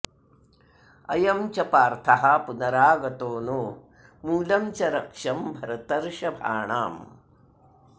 अयं च पार्थः पुनरागतो नो मूलं च रक्ष्यं भरतर्षभाणाम्